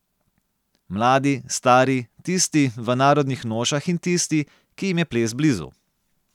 Mladi, stari, tisti, v narodnih nošah in tisti, ki jim je ples blizu.